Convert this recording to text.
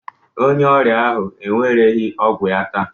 Onye ọrịa ahụ ewereghị ọgwụ ya taa